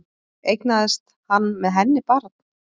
Eignaðist hann með henni barn